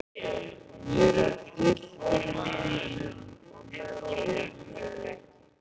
Mér er illt í maganum og með ógleði.